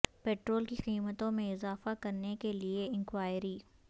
petrol کی قیمتوں میں اضافہ کرنے کے لئے انکوائری